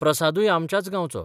प्रसादूय आमच्याच गांवचो.